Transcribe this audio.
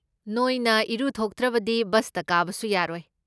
ꯅꯣꯏꯅ ꯏꯔꯨꯊꯣꯛꯇ꯭ꯔꯕꯗꯤ ꯕꯁꯇ ꯀꯥꯕꯁꯨ ꯌꯥꯔꯣꯏ꯫